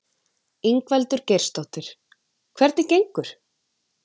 Ingveldur Geirsdóttir: Hvernig gengur?